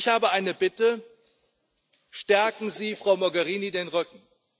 Ich habe eine Bitte Stärken Sie Frau Mogherini den Rücken!